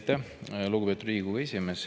Aitäh, lugupeetud Riigikogu esimees!